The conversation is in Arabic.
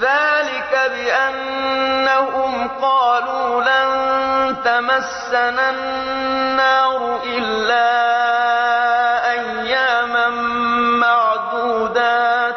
ذَٰلِكَ بِأَنَّهُمْ قَالُوا لَن تَمَسَّنَا النَّارُ إِلَّا أَيَّامًا مَّعْدُودَاتٍ ۖ